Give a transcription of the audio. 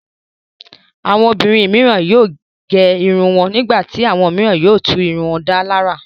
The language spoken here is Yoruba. Àwọn obìnrin mìíràn yóò gé irun wọn. Nígbà tí àwọn mìíràn yóò tún irun wọn dá lárà.